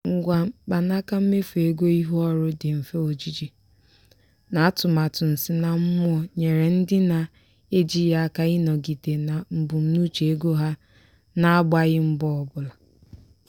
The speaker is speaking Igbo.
ngwa mkpanaka mmefu ego ihu ọrụ dị mfe ojiji na atụmatụ nsinammụọ nyere ndị na-eji ya aka ịnọgide na mbunuche ego ha na-agbaghị mbọ ọbụla.